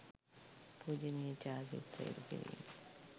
පූජණීය චාරිත්‍ර ඉටුකිරීම